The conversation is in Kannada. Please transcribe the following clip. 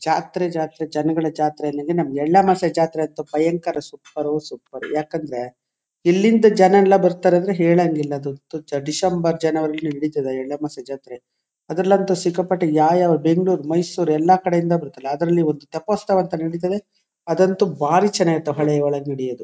ಜಾತ್ರೆ ಜಾತ್ರೆ ಜನಗಳ ಜಾತ್ರೆ ಎಳ್ಳು ಅಮಾಸ್ಯೆ ಜಾತ್ರೆ ಅಂತೂ ಭಯಂಕರ ಸುಪರೋ ಸೂಪರು ಯಾಕಂದ್ರೆ ಇಲ್ಲಿಂದ ಜನಯೆಲ್ಲಾ ಬರತಾರೆ ಹೇಳಂಗಿಲ್ಲಾ ಅದು ಡಿಸೆಂಬರ್ ಜನವರಿ ಹಿಡಿತದ ಎಳ್ಳು ಅಮಾವಾಸ್ಯ ಜಾತ್ರೆ ಅದ್ರ ಲಂತೂ ಸಿಕ್ಕಾಪಟ್ಟೆ ಯಾವ ಯಾವ ಬೆಂಗಳೂರು ಮೈಸೂರ್ ಎಲ್ಲಾ ಕಡೆಯಿಂದ ಬರುತ್ತಾರೆ ಅದ್ರಲೊಂದು ಥೇಪೋತ್ಸವ ಅಂತಾ ನಡೀತದೆ ಅದಂತೂ ಬಾರಿ ಚನ್ನಾಗಿ ಇರುತ್ತೆ ಹೊಳೆಯಲಿ ನಡೆಯೋದು.